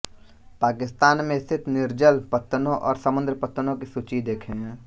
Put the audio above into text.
पाकिस्तान में स्थित निर्जल पत्तनों और समुद्र पत्तनों की सूची देखें